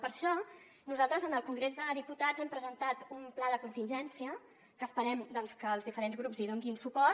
per això nosaltres en el congrés dels diputats hem presentat un pla de contingència que esperem doncs que els diferents grups hi donin suport